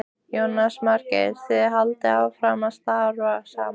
Jónas Margeir: Þið haldið áfram að starfa saman?